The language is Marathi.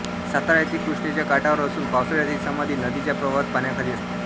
सातारा येथे कृष्णेच्या काठावर असून पावसाळ्यात ही समाधी नदीच्या प्रवाहात पाण्याखाली असते